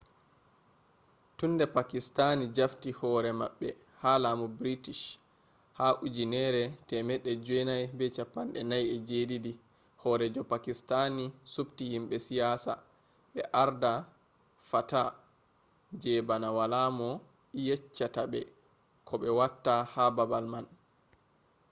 tun de pakistani jafti hore mabbe ha lamu british ha 1947 horeejo pakistani subti himbe siyasa be arda fata je bana wala mo yeccata be ko be watta ha babal man